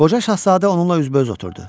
Qoca şahzadə onunla üzbəüz oturdu.